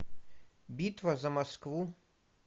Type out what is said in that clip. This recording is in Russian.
битва за москву